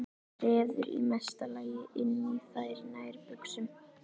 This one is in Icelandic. Treður í mesta lagi inn í þær nærbuxum.